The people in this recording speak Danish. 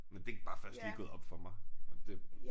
Men det bare først lige gået op for mig og det